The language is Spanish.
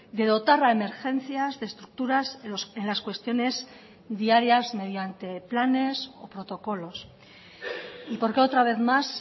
de dotar a emergencias de estructuras en las cuestiones diarias mediante planes o protocolos y porque otra vez más